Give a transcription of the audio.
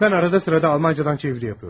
Mən arada sırada Almancadan çeviri yapıyorum.